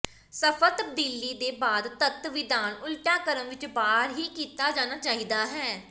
ਸਫਲ ਤਬਦੀਲੀ ਦੇ ਬਾਅਦ ਤੱਤ ਵਿਧਾਨ ਉਲਟਾ ਕ੍ਰਮ ਵਿੱਚ ਬਾਹਰ ਹੀ ਕੀਤਾ ਜਾਣਾ ਚਾਹੀਦਾ ਹੈ